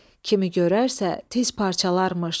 Kimi görərsə tez parçalarmış.